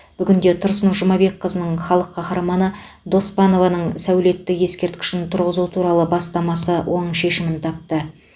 бүгінде тұрсын жұмабекқызының халық қаһарманы доспанованың сәулетті ескерткішін тұрғызу туралы бастамасы оң шешімін тапты